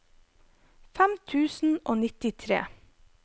fem tusen og nittitre